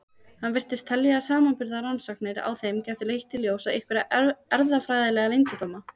Hann virtist telja að samanburðarrannsóknir á þeim gætu leitt í ljós einhverja erfðafræðilega leyndardóma.